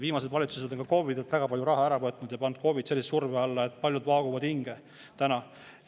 Viimased valitsused on KOV-idelt väga palju raha ära võtnud ja pannud KOV‑id sellise surve alla, et paljud vaaguvad täna hinge.